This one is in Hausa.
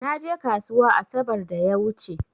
Na je ƙasuwa asabar da ya wuche.